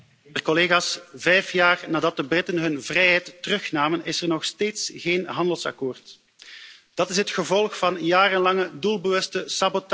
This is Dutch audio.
Voorzitter, vijf jaar nadat de Britten hun vrijheid terugnamen is er nog steeds geen handelsakkoord. Dat is het gevolg van jarenlange doelbewuste sabotage.